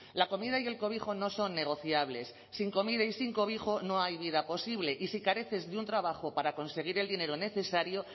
la comida y el cobijo no son negociables sin comida y sin cobijo no hay vida posible y si careces de un trabajo para conseguir el dinero necesario